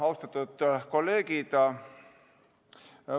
Austatud kolleegid!